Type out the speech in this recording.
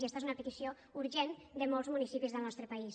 i esta és una petició urgent de molts municipis del nostre país